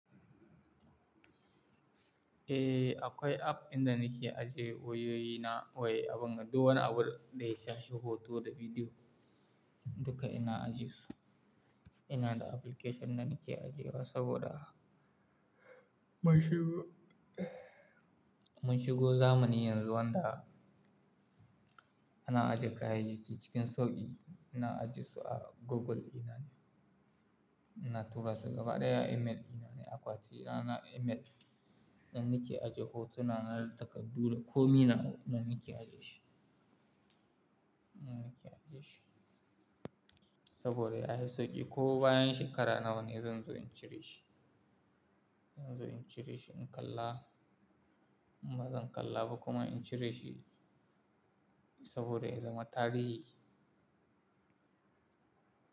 Eh, akwai app idin nake ajiye wayoyi na da duk wani abu da ya shafi hoto da bidiyo, duka ina ajiye su. Ina da application da nake ajiye wa saboda mun shigo zamanin yanzu wanda ana ajiye kayayyaki cikin sauƙi. Ina ajiye su a Google dina ne, ina tura su gaba ɗaya a email dina ne. Akwati na na email nan nake ajiye hotuna na, da takardu da komai nawa can nake ajiye shi. Saboda yafi sauƙi ko bayan shekara nawa ne zan zo in cire shi, zan zo in cire shi in kalla. Bazan kalla ba kuma in cire shi saboda ya zama tarihi.